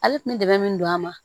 Ale kun bɛ dɛmɛ min don a ma